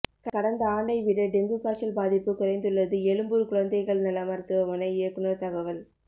கடந்த ஆண்டை விட டெங்கு காய்ச்சல் பாதிப்பு குறைந்துள்ளது எழும்பூர் குழந்தைகள் நல மருத்துவமனை இயக்குனர் தகவல்